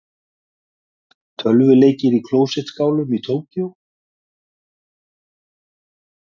Tölvuleikir í klósettskálum í Tókýó